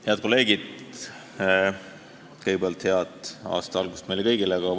Head kolleegid, kõigepealt head aasta algust meile kõigile!